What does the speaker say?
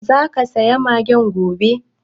Zaka saya magen gobe?